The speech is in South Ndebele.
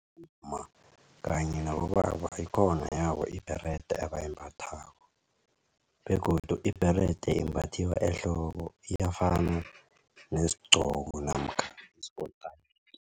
kanye nabobaba ikhona yabo ibherede abayimbathako begodu ibherede embathiwa ehloko iyafana nesigqoko namkha isikotayiki.